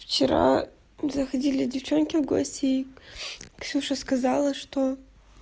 вчера заходили девчонки в гости и ксюша сказала что